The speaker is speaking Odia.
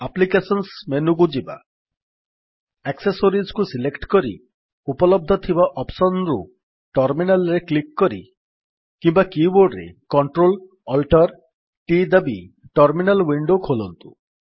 ଆପ୍ଲିକେସନ୍ସ ମେନୁକୁ ଯିବା ଆକ୍ସେସୋରିଜ୍ କୁ ସିଲେକ୍ଟ କରି ଉପଲବ୍ଧ ଥିବା ଅପ୍ସନ୍ ରୁ ଟର୍ମିନାଲ୍ ରେ କ୍ଲିକ୍ କରି କିମ୍ବା କିବୋର୍ଡରେ ctrl alt t ଦାବି ଟର୍ମିନାଲ୍ ୱିଣ୍ଡୋ ଖୋଲନ୍ତୁ